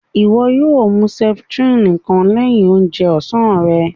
Iwọ yóò mú septrin kàn lẹ̀hin òunjè ọ̀sán rè